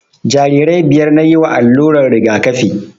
Jarirai biyar nayi wa allurar rigakafi